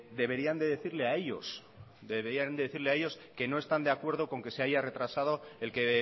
deberían de decirle a ellos deberían decirles a ellos que no están de acuerdo con que se haya retrasado el que